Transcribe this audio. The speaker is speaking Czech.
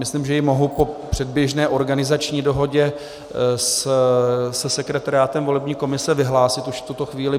Myslím, že ji mohu po předběžné organizační dohodě se sekretariátem volební komise vyhlásit už v tuto chvíli.